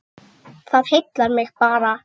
Það heillar mig bara.